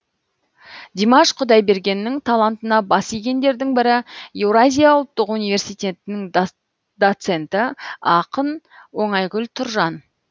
димаш құдайбергеннің талантына бас игендердің бірі еуразия ұлттық университетінің доценті ақын оңайгүл тұржан